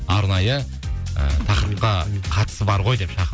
арнайы і тақырыпқа қатысы бар ғой деп шақырып